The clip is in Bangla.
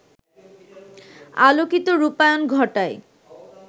আলোকিত রূপায়ণ ঘটায়